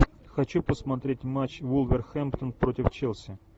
хочу посмотреть матч вулверхэмптон против челси